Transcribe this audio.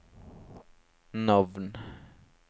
navn